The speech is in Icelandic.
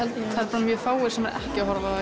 það eru mjög fáir sem eru ekki að horfa